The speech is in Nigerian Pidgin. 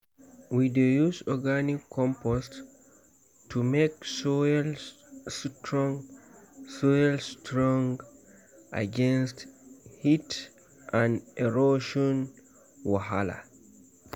we dey use organic compost to make soil strong soil strong against heat and erosion wahala.